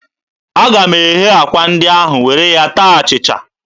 Aga m eghe akwa ndị ahụ were ya taa achịcha.